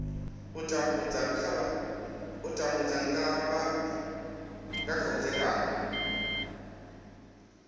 u tambudza nga kha vhudzekani